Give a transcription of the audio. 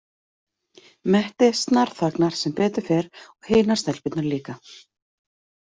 Mette snarþagnar, sem betur fer, og hinar stelpurnar líka.